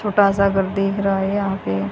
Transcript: छोटा सा घर दिख रहा है यहां पे--